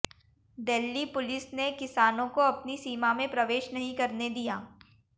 Delhi police ने किसानों को अपनी सीमा में प्रवेश नहीं करने दिया